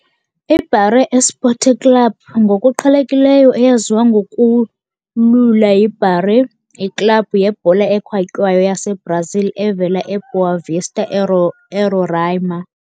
IBaré Esporte Clube, ngokuqhelekileyo eyaziwa ngokulula yiBaré, yiklabhu yebhola ekhatywayo yaseBrazil evela eBoa Vista, eRoraima.